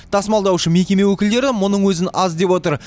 тасымалдаушы мекеме өкілдері мұның өзін аз деп отыр